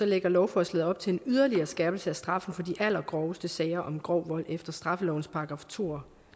lægger lovforslaget op til en yderligere skærpelse af straffen for de allergroveste sager om grov vold efter straffelovens § to